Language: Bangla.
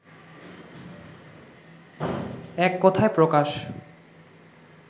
এক কথায় প্রকাশ